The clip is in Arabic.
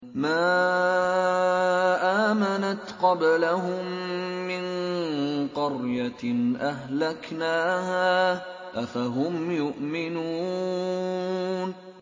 مَا آمَنَتْ قَبْلَهُم مِّن قَرْيَةٍ أَهْلَكْنَاهَا ۖ أَفَهُمْ يُؤْمِنُونَ